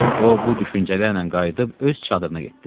O bu düşüncələrlə qayıdıb öz çadırına getdi.